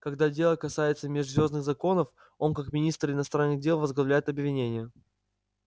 когда дело касается межзвёздных законов он как министр иностранных дел возглавляет обвинение